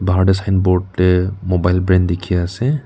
bahar de signboard te mobile brand dekhi ase.